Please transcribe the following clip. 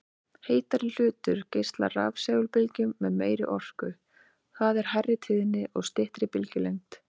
Heitari hlutur geislar rafsegulbylgjum með meiri orku, það er hærri tíðni og styttri bylgjulengd.